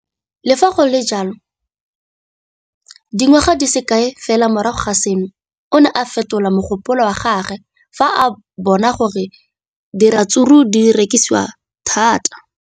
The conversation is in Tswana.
Le fa go le jalo, dingwaga di se kae fela morago ga seno, o ne a fetola mogopolo wa gagwe fa a bona gore diratsuru di rekisiwa thata.